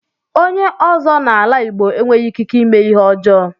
Onye ọ́zọ́ n'ala Igbo enweghị ikike ímé Ihe ọjọọ